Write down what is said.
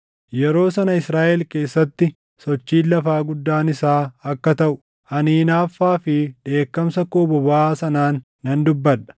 Yeroo sana Israaʼel keessatti sochiin lafaa guddaan isaa akka taʼu, ani hinaaffaa fi dheekkamsa koo bobaʼaa sanaan nan dubbadha.